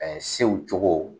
Ɛɛ sew cogo